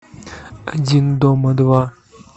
один дома два